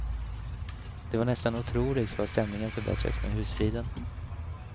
Det var nästan otroligt vad stämningen förbättrades med husfriden.